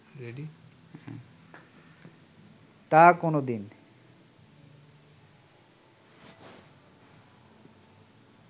তা কোনো দিন